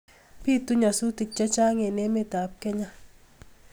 Bitu nyasutik chechang eng emetab Kenya